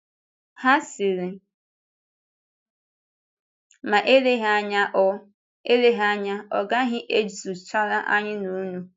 Ha sịrị: “Ma eleghị anya ọ eleghị anya ọ gaghị ezuchara anyị na unu.”